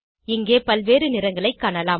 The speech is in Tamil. இங்கே பல்வேறு நிறங்களைக் காணலாம்